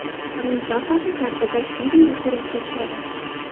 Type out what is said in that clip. Rim papasi sarguzasht filmda suratga tushadi.